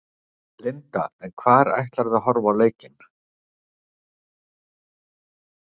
Linda: En hvar ætlarðu að horfa á leikinn?